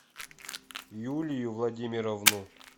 юлию владимировну